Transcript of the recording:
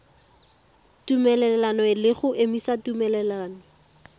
tumelelano le go emisa tumelelano